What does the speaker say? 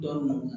Dɔn